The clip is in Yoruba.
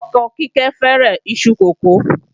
Ọkọ Kíkẹ́ fẹ́ràn iṣu kókò